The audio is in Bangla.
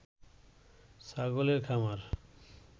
ছাগলের খামার